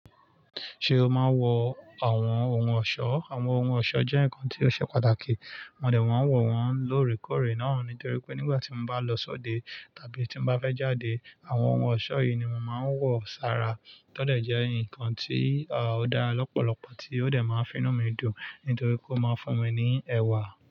Ṣé o máa ń wọ àwọn ohun ọ̀ṣọ́? Àwọn ohun ọ̀ṣọ́ jẹ́ nǹkan tí ó ṣe pàtàkì. Mò dé, mò ń wọ̀ wọ́n lóorekóòrè náà nítorí pé nígbà tí mò ń bá lọ sóde tàbí tí mò ń bá fẹ́ jáde àwọn ohun ọ̀ṣọ́ yìí ni mò máa ń wọ̀ sára. Tọ́ dẹ̀ jẹ́ ǹkan tí ó dá lọ́pọ̀lọpọ̀ tí ó dé máa ń finú mi dùn nítorí kó máa fún mi ní ẹwà.